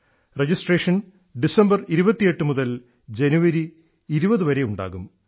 registration 28 December മുതൽ 20 ജനുവരി വരെയുണ്ടാകും